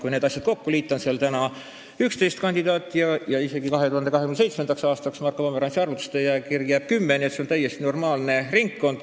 Kui need kokku liita, on seal praegu 11 kandidaati ja isegi 2027. aastaks jääb Marko Pomerantsi arvutuste järgi kirja kümme, nii et see on täiesti normaalne ringkond.